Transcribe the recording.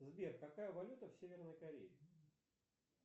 сбер какая валюта в северной корее